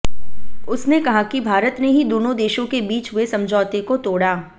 उसने कहा कि भारत ने ही दोनों देशों के बीच हुए समझौते को तोड़ा